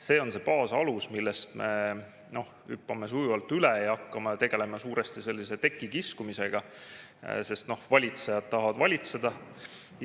See on see baasalus, millest me hüppame sujuvalt üle ja hakkame tegelema suuresti sellise tekikiskumisega, sest valitsejad tahavad valitseda.